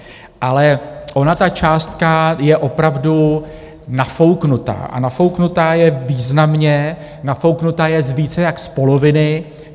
Ale ona ta částka je opravdu nafouknutá a nafouknutá je významně, nafouknutá je více jak z poloviny.